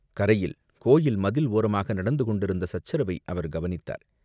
கரையில், கோயில் மதில் ஓரமாக நடந்து கொண்டிருந்த சச்சரவை அவர் கவனித்தார்.